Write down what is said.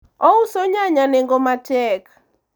ouso nyanya nengo matek